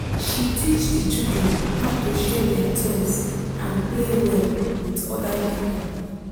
she teach the children how to share their toys and play well with other people.